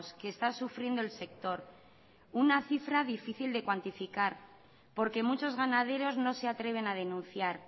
que está sufriendo el sector una cifra difícil de cuantificar porque muchos ganaderos no se atreven a denunciar